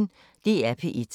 DR P1